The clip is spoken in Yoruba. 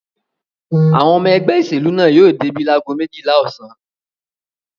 Àwọn ọmọ ẹgbẹ́ ìṣèlú náà yóò débí lágo méjìlá ọ̀sán.